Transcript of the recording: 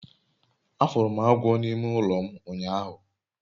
afuru m agwo n'ime ulo m unyahu